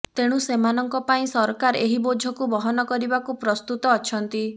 ତେଣୁ ସେମାନଙ୍କ ପାଇଁ ସରକାର ଏହି ବୋଝକୁ ବହନ କରିବାକୁ ପ୍ରସ୍ତୁତ ଅଛନ୍ତି